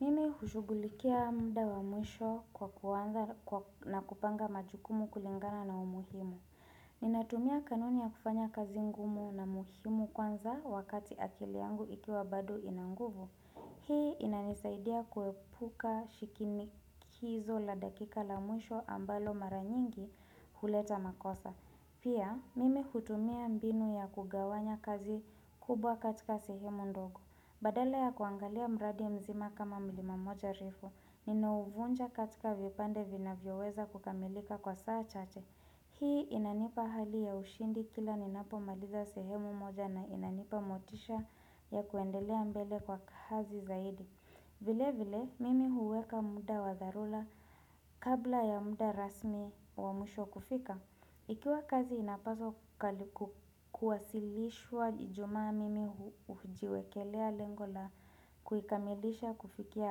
Mimi hushugulikia mda wa mwisho kwa kuanza na kupanga majukumu kulingana na umuhimu. Ninatumia kanuni ya kufanya kazi ngumu na muhimu kwanza wakati akili yangu ikiwa bado ina nguvu. Hii inanisaidia kuepuka shikinikizo la dakika la mwisho ambalo mara nyingi huleta makosa. Pia, mimi hutumia mbinu ya kugawanya kazi kubwa katika sehemu ndogo. Badala ya kuangalia mradi mzima kama milima moja refu, ninauvunja katika vipande vinavyoweza kukamilika kwa saa chache. Hii inanipa hali ya ushindi kila ninapomaliza sehemu moja na inanipa motisha ya kuendelea mbele kwa kazi zaidi. Vile vile, mimi huweka muda wa dharura kabla ya muda rasmi wa mwisho kufika. Ikiwa kazi inapaswa kuwasilishwa ijumaa mimi hujiwekelea lengo la kuikamilisha kufikia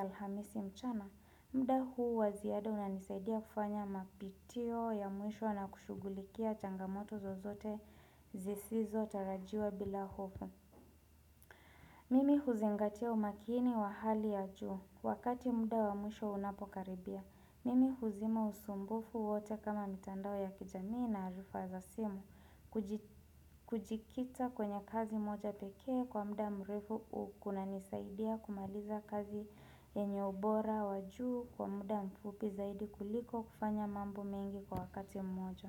alhamisi mchana, mda huu wa ziada unanisaidia kufanya mapitio ya mwisho na kushugulikia changamoto zozote zisizo tarajiwa bila hofu. Mimi huzingatia umakini wa hali ya juu. Wakati muda wa mwisho unapokaribia. Mimi huzima usumbufu wote kama mitandao ya kijamii na arifa za simu. Kujikita kwenye kazi moja pekee kwa muda mrefu kunanisaidia kumaliza kazi yenye ubora wa juu kwa muda mfupi zaidi kuliko kufanya mambo mengi kwa wakati mmoja.